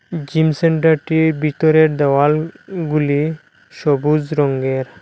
Gym সেন্টারটির বিতরের দেওয়ালগুলি সবুজ রঙ্গের।